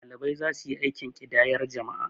ɗalibai za su yi aikin ƙidayar jama'a